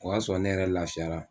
O y'a sɔrɔ ne yɛrɛ lafiyara